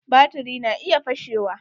Baturi na iya fashewa.